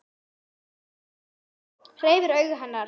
Hreyft augu hennar.